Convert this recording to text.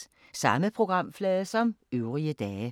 Samme programflade som øvrige dage